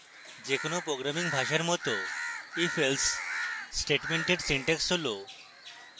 যে কোনো programming ভাষার মত ifelse স্টেটমেন্টের syntax হল: